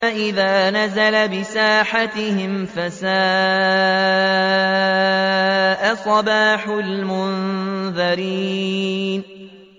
فَإِذَا نَزَلَ بِسَاحَتِهِمْ فَسَاءَ صَبَاحُ الْمُنذَرِينَ